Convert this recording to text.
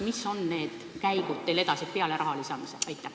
Mis on need käigud peale raha lisamise?